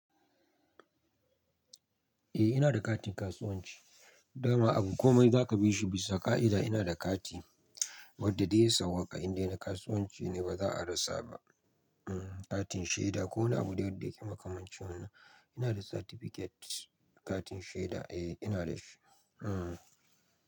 Eh ina da katin kasuwanci, dama abu komai za ka bi shi bisa ka'ida ina da kati. Wadda dai sau waƙa inda na kasuwanci ne ba za a rasa ba. Hmm katin shaida ko wani abu dai wadda makamancin wanan, ina da certificate katin shaida eh ina da shi. Hmm.